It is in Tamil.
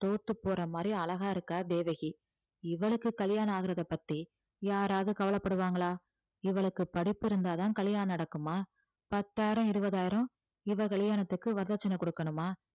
தோத்து போற மாதிரி அழகா இருக்கா தேவகி இவளுக்கு கல்யாணம் ஆகறதைப் பத்தி யாராவது கவலைப்படுவாங்களா இவளுக்கு படிப்பு இருந்தாதான் கல்யாணம் நடக்குமா பத்தாயிரம், இருபதாயிரம் இவ கல்யாணத்துக்கு வரதட்சணை கொடுக்கணுமா